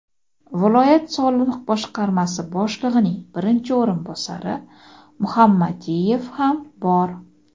viloyat soliq boshqarmasi boshlig‘ining birinchi o‘rinbosari Muhammadiyev ham bor.